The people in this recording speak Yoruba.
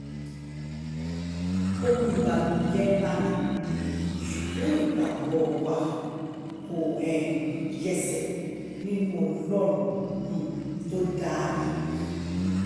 ohun ìbànújẹ́ ńlá ni ṣùgbọ́n ìgbàgbọ́ wa kò um yẹsẹ̀ nínú ọlọ́run tó um dá ayé